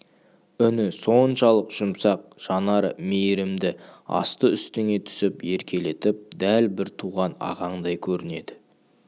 үні соншалық жұмсақ жанары мейірімді асты-үстіңе түсіп еркелетіп дәл бір туған ағаңдай көрінеді